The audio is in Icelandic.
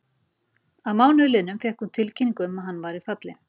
Að mánuði liðnum fékk hún tilkynningu um að hann væri fallinn.